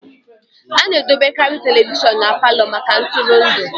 A na-edobekarị telivishọn na Palọ maka ntụrụndụ